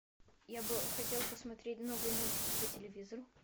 я бы хотел посмотреть новые мультики по телевизору